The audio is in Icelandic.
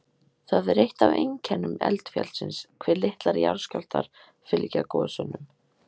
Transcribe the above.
Það er eitt af einkennum eldfjallsins hve litlir jarðskjálftar fylgja gosunum.